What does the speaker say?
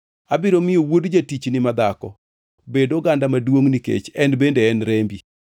Abiro miyo wuod jatichni madhako bed oganda maduongʼ nikech en bende en rembi.”